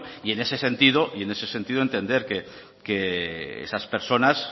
y en ese sentido entender que esas personas